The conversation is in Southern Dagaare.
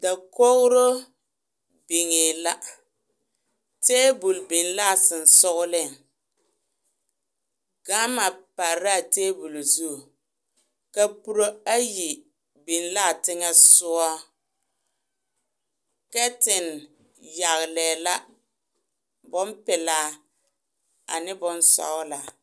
Dakogiro niŋee la taabol biŋ la ka sonsoŋeleŋ gama pare la a taabol zu kapuro ayi biŋ laa teŋa soɔ kɛten yagelɛɛ la bompelaa ane bonsɔgelaa